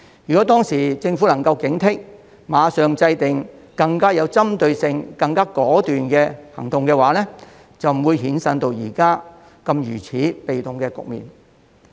如果當時政府能夠警惕，馬上制訂更有針對性及更果斷的行動，便不會衍生到現時如此被動的局面。